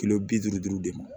Kilo bi duuru duuru de ma